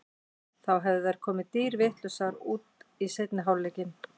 Þá hefðu þær komið dýrvitlausar út í seinni hálfleikinn.